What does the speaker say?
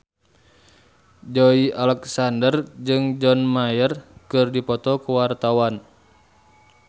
Joey Alexander jeung John Mayer keur dipoto ku wartawan